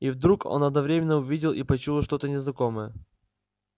и вдруг он одновременно увидел и почуял что-то незнакомое